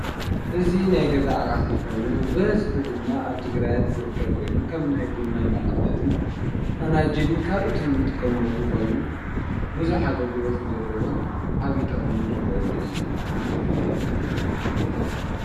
እዙ ናይ ገዛ ቓሕ ኾይኑ ብሕዝኂ ድማ ኣብ ትግራያት ዝርከብ ኮይኑ ከም ናይ ቦንና መቐመጥን ፈናጅልን ካልኦትን እንትቆመሉ ኾይኑ ብዙሕ ኣገልግለትን ዘለዎን ዓብዪ ጠቕም ንረኽወሉ እዩ።